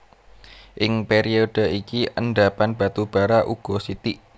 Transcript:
Ing période iki endhapan batu bara uga sithik